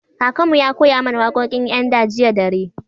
Kakan mu ya koya mana wakokin yan da jiya dare.